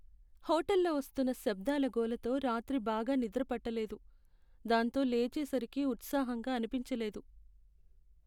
హోటల్లో వస్తున్న శబ్దాల గోలతో రాత్రి బాగా నిద్రపట్టలేదు, దాంతో లేచే సరికి ఉత్సాహంగా అనిపించలేదు.